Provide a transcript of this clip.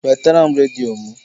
Wetara m redio m!